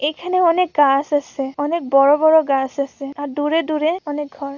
এখানে অনেক গাস আছে অনেক বড় বড় গাস আছে আর দূরে দূরে অনেক ঘর। ‌